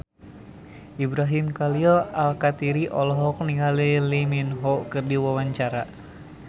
Ibrahim Khalil Alkatiri olohok ningali Lee Min Ho keur diwawancara